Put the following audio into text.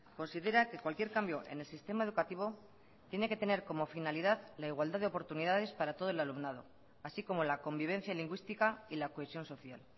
considera que cualquier cambio en el sistema educativo tiene que tener como finalidad la igualdad de oportunidades para todo el alumnado así como la convivencia lingüística y la cohesión social